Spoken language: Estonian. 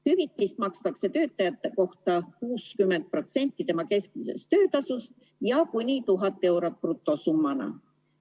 Hüvitist makstakse töötaja kohta 60% tema keskmisest töötasust ja kuni 1000 eurot brutosummana.